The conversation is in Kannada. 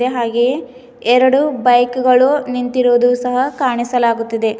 ಹಾಗೆ ಎರಡು ಬೈಕ್ ಗಳು ನಿಂತಿರುವುದು ಸಹ ಕಾಣಿಸಲಾಗುತ್ತಿದೆ.